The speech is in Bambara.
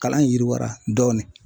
Kalan in yiriwara dɔɔnin.